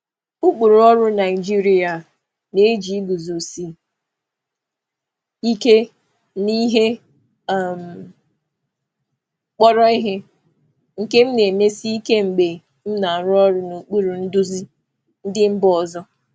Ụkpụrụ ọrụ Naịjirịa na-eji iguzosi ike n'ihe kpọrọ ihe, nke m na-emesi ike m na-emesi ike mgbe m na-arụ ọrụ n'okpuru ndu si mba ọzọ.